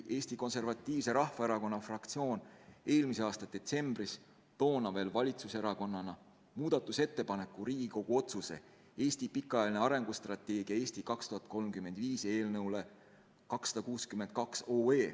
Eesti Konservatiivse Rahvaerakonna fraktsioon tegi eelmise aasta detsembris toona veel valitsuserakonnana muudatusettepaneku Riigikogu otsuse "Eesti pikaajaline arengustrateegia "Eesti 2035"" eelnõu 262 kohta.